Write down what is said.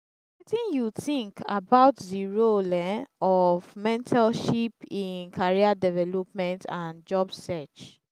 wetin you think about di role um of mentorship in career development and job search?